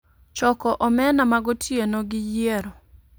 Choko omena ma gotieno, gi yiero